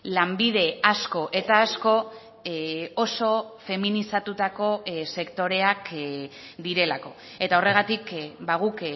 lanbide asko eta asko oso feminizatutako sektoreak direlako eta horregatik guk